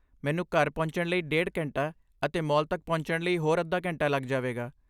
ਮੈਨੂੰ ਘਰ ਪਹੁੰਚਣ ਲਈ ਡੇਢ ਘੰਟਾ ਅਤੇ ਮਾਲ ਤੱਕ ਪਹੁੰਚਣ ਲਈ ਹੋਰ ਅੱਧਾ ਘੰਟਾ ਲੱਗ ਜਾਵੇਗਾ।